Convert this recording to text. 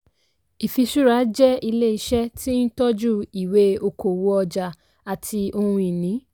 ìfiṣúra jẹ́ ilé iṣẹ́ tí ń tọ́jú ìwé okòwò ọjà àti ohun-ìní.